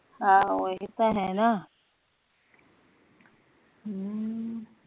ਆਹ ਹੀ ਤਾ ਹੈ ਨਾ ਹਮ